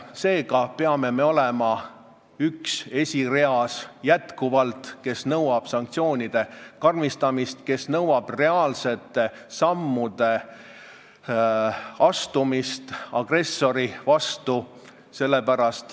Seega peame jätkuvalt olema üks nendest, kes esireas nõuab sanktsioonide karmistamist, kes nõuab reaalsete sammude astumist agressori vastu.